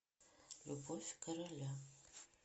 любовь короля